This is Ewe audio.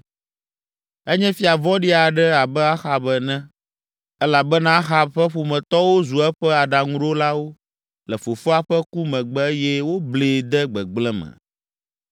Enye fia vɔ̃ɖi aɖe abe Ahab ene elabena Ahab ƒe ƒometɔwo zu eƒe aɖaŋuɖolawo le fofoa ƒe ku megbe eye woblee de gbegblẽ me.